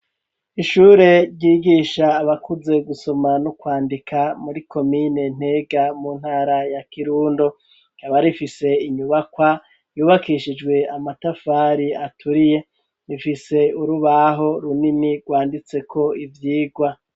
Ishure ryigisha abakuze gusoma no kwandika muri komine Ntega mu ntara ya Kirundo rikaba rifise inyubakwa yubakishijwe amatafari aturiye ifise urubaho runimi rwanditse ko ivyirwa